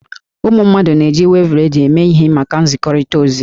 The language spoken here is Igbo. Ụmụ mmadụ na-eji wevu redio eme ihe maka nzikọrịta ozi.